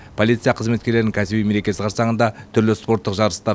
полиция қызметкерлерінің кәсіби мерекесі қарсаңында түрлі спорттық жарыстар